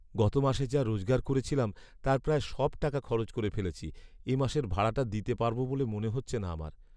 গত মাসে যা রোজগার করেছিলাম তার প্রায় সব টাকা খরচ করে ফেলেছি। এ মাসের ভাড়াটা দিতে পারব বলে মনে হচ্ছে না আমার।